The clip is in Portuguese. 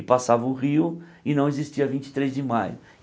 E passava o rio, e não existia vinte e três de Maio.